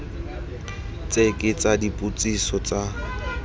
tse ke tsa dipotsiso tsa